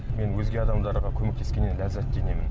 мен өзге адамдарға көмектескеннен ләззаттенемін